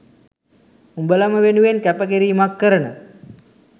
උඹලම වෙනුවෙන් කැප කිරීමක් කරන